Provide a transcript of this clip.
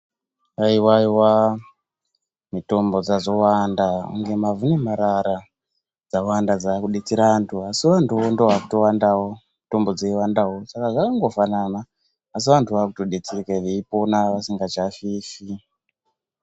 Haiwa iwa mitombo dzazowanda kunge mavhu nemarara dzawanda dzakudetsera vantu asi vantuvo ndovakuwandawo mitombo dzeiwanawo Saka zvakangofananwo asi vantu vakudetserekawo Veipona vasingafifi.